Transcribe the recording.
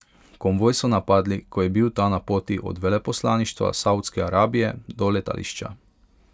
Konvoj so napadli, ko je bil ta na poti od veleposlaništva Saudske Arabije do letališča.